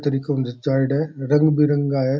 तरीक ऊ जचायेड़ा है रंग बिरंगा है।